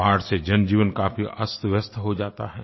बाढ़ से जनजीवन काफी अस्तव्यस्त हो जाता है